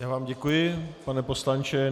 Já vám děkuji, pane poslanče.